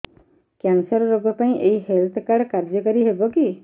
cancer ରୋଗ ପାଇଁ ଏଇ ହେଲ୍ଥ କାର୍ଡ କାର୍ଯ୍ୟକାରି ହେବ କି